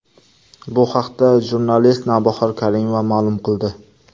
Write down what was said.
Bu haqda jurnalist Navbahor Karimova ma’lum qildi.